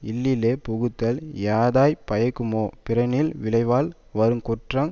இல்லிலே புகுதல் யாதாய்ப் பயக்குமோ பிறனில் விழைவால் வரு குற்றங்